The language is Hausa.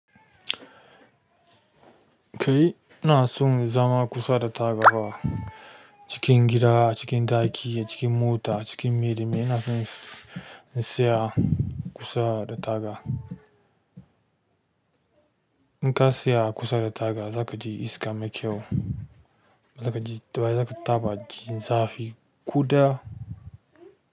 Kai ina son zama kusa da tabarma cikin gida, cikin ɗaki, cikin mota, cikin mili, ina son in tsaya kusa da taga. In ka tsaya a kusa da taga za ka ji iska mai kyau. Za ka ji, daban za ka taɓa jin zafi ƙuda.